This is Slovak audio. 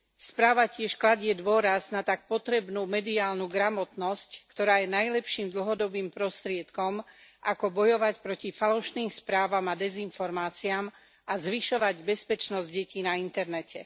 Správa tiež kladie dôraz na tak potrebnú mediálnu gramotnosť, ktorá je najlepším dlhodobým prostriedkom, ako bojovať proti falošným správam a dezinformáciám a zvyšovať bezpečnosť detí na internete.